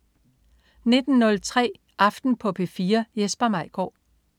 19.05 Aften på P4. Jesper Maigaard